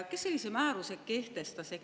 Kes sellise määruse kehtestas?